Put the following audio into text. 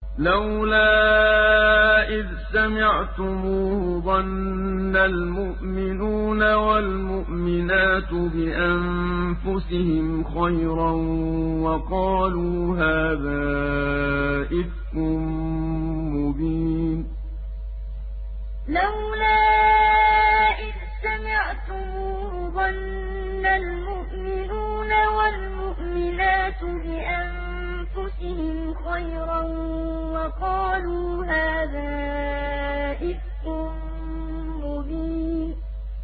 لَّوْلَا إِذْ سَمِعْتُمُوهُ ظَنَّ الْمُؤْمِنُونَ وَالْمُؤْمِنَاتُ بِأَنفُسِهِمْ خَيْرًا وَقَالُوا هَٰذَا إِفْكٌ مُّبِينٌ لَّوْلَا إِذْ سَمِعْتُمُوهُ ظَنَّ الْمُؤْمِنُونَ وَالْمُؤْمِنَاتُ بِأَنفُسِهِمْ خَيْرًا وَقَالُوا هَٰذَا إِفْكٌ مُّبِينٌ